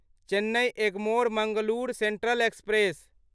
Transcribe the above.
Chennai Egmore Mangalore central express